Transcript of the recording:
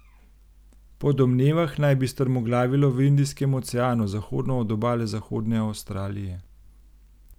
Po domnevah naj bi strmoglavilo v Indijskem oceanu zahodno od obale Zahodne Avstralije.